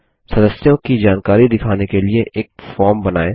सदस्यों की जानकारी दिखाने के लिए एक फॉर्म बनाइए